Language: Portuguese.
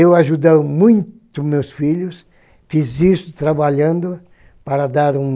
Eu ajudo muito os meus filhos, fiz isso trabalhando para dar um...